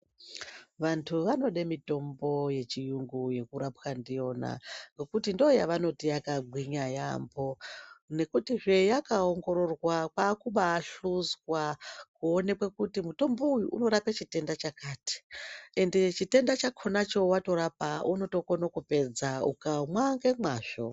Vantu vanode mitombo yechiyungu nekurapwa ndiyona ngekuti ndiyo yavanoti yakagwinya yamho nekutizve yakaongororwa kwakubaahluzwa kuonekwi kuti mutombo uyu unorape chitenda chakati ende chitenda chakona cho watorapa unokone kupedza ukamwa nemazvo.